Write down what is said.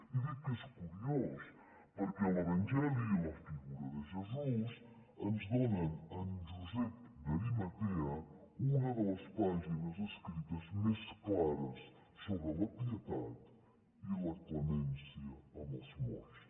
i dic que és curiós perquè l’evangeli i la figura de jesús ens donen en josep d’arimatea una de les pàgines escrites més clares sobre la pietat i la clemència amb els morts